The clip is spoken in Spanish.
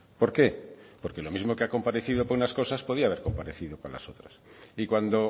por qué porque lo mismos que ha comparecido para unas cosas podría haber comparecido para las otras y cuando